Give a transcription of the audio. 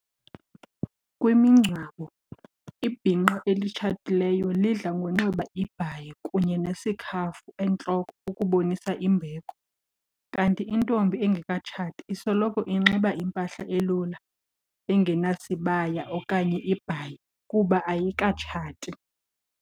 Kwimigcwabo ibhinqa elitshatileyo lidla ngonxiba ibhayi kunye nesikhafu entloko ukubonisa imbeko. Kanti intombi engekatshati isoloko inxiba impahla elula engenasibaya okanye ibhayi kuba ayikatshati.